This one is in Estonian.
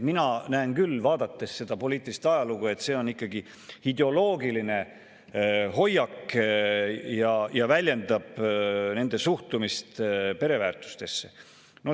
Mina näen küll, vaadates seda poliitilist ajalugu, et see on ikkagi ideoloogiline hoiak ja väljendab nende suhtumist pereväärtustesse.